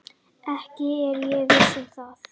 Ekki er ég viss um það.